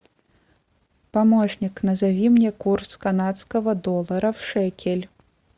помощник назови мне курс канадского доллара в шекель